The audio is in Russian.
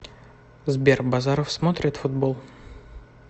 сбер базаров смотрит футбол